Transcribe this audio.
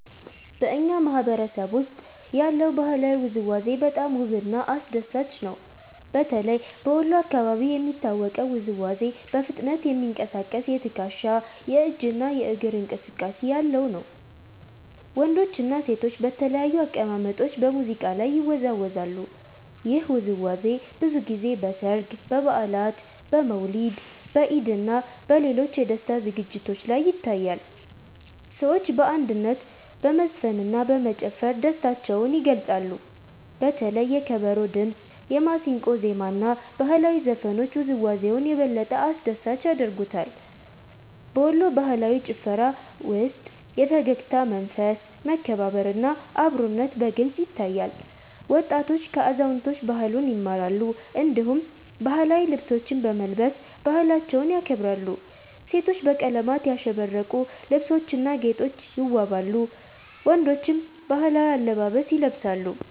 በእኛ ማህበረሰብ ውስጥ ያለው ባህላዊ ውዝዋዜ በጣም ውብና አስደሳች ነው። በተለይ በወሎ አካባቢ የሚታወቀው ውዝዋዜ በፍጥነት የሚንቀሳቀስ የትከሻ፣ የእጅ እና የእግር እንቅስቃሴ ያለው ነው። ወንዶችና ሴቶች በተለያዩ አቀማመጦች በሙዚቃ ላይ ይወዛወዛሉ። ይህ ውዝዋዜ ብዙ ጊዜ በሠርግ፣ በበዓላት፣ በመውሊድ፣ በኢድ እና በሌሎች የደስታ ዝግጅቶች ላይ ይታያል። ሰዎች በአንድነት በመዝፈንና በመጨፈር ደስታቸውን ይገልጻሉ። በተለይ የከበሮ ድምጽ፣ የማሲንቆ ዜማ እና ባህላዊ ዘፈኖች ውዝዋዜውን የበለጠ አስደሳች ያደርጉታል። በወሎ ባህላዊ ጭፈራ ውስጥ የፈገግታ መንፈስ፣ መከባበር እና አብሮነት በግልጽ ይታያል። ወጣቶች ከአዛውንቶች ባህሉን ይማራሉ፣ እንዲሁም ባህላዊ ልብሶችን በመልበስ ባህላቸውን ያከብራሉ። ሴቶች በቀለማት ያሸበረቁ ልብሶችና ጌጦች ይዋበዋሉ፣ ወንዶችም ባህላዊ አለባበስ ይለብሳሉ።